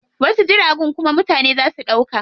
Wasu jiragun kuma mutane zaa su ɗauka.